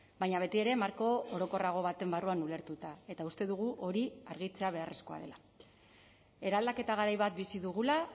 baina betiere marko orokorrago baten barruan ulertuta eta uste dugu hori argitzea beharrezkoa dela eraldaketa garai bat bizi dugula